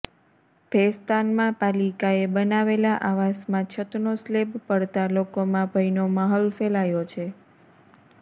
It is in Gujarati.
ભેસ્તાનમાં પાલિકાએ બનાવેલા આવાસમાં છતનો સ્લેબ પડતા લોકોમાં ભયનો માહોલ ફેલાયો છે